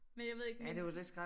Men jeg ved ikke med